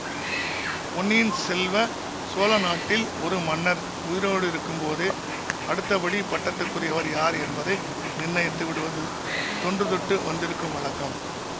பொன்னியின் செல்வ சோழ நாட்டில் ஒரு மன்னர் உயிரோடிருக்கும் போதே அடுத்தபடி பட்டத்துக்குரியவர் யார் என்பதை நிர்ணயித்து விடுவது தொன்று தொட்டு வந்திருக்கும் வழக்கம்